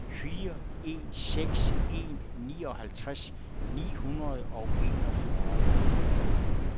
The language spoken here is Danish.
fire en seks en nioghalvtreds ni hundrede og enogfyrre